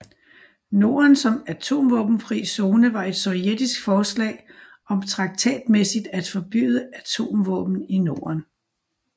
Norden som Atomvåbenfri Zone var et sovjetisk forslag om traktatmæssigt at forbyde atomvåben i Norden